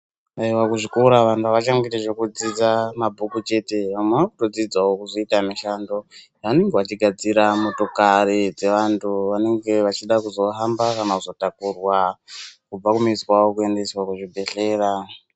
vantu kuzvikora vantu avachangoiti zvekudzidza mabhuku chete vamwe vakudzidzawo kuzoita mishando vanenge vachigadzira motokari vantu vanenge vachida kuzohamba kana kutakurwa kubva kumizi kwawo kuendeswa kuzvibhedhlera.